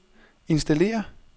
installér